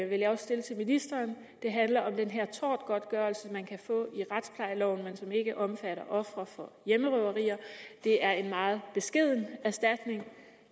vil jeg også stille til ministeren det handler om den her tortgodtgørelse i retsplejeloven man kan få men som ikke omfatter ofre for hjemmerøverier det er en meget beskeden erstatning